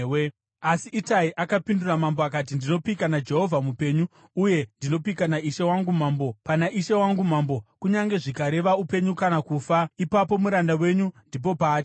Asi Itai akapindura mambo akati, “Ndinopika naJehovha mupenyu, uye ndinopika naishe wangu mambo mupenyu, pana ishe wangu mambo, kunyange zvikareva upenyu kana kufa, ipapo muranda wenyu ndipo paachava.”